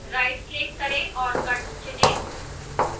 rightclick करें और cut चुनें